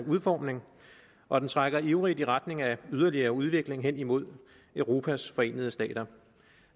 udformning og den trækker ivrigt i retning af yderligere udvikling hen imod europas forenede stater